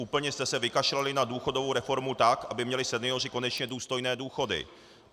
Úplně jste se vykašlali na důchodovou reformu, tak aby měli senioři konečně důstojné důchody.